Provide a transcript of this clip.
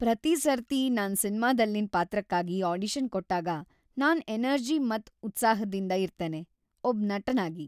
ಪ್ರತಿ ಸರ್ತಿ ನಾನ್ ಸಿನ್ಮಾ ದಲ್ಲಿನ್ ಪಾತ್ರಕ್ಕಾಗಿ ಆಡಿಷನ್ ಕೊಟ್ಟಾಗ ನಾನ್ ಎನರ್ಜಿ ಮತ್ ಉತ್ಸಾಹದಿಂದ್ ಇರ್ತೇನೆ. ಒಬ್ ನಟನಾಗಿ